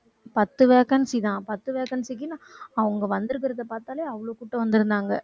பத்து vacancy தான். பத்து vacancy க்கு அவங்க வந்திருக்கிறதை பார்த்தாலே அவ்வளவு கூட்டம் வந்திருந்தாங்க